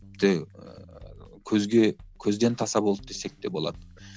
ііі көзге көзден таса болды десек те болады